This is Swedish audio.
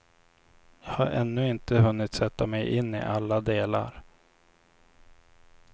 Jag har ännu inte hunnit sätta mig in i alla delar.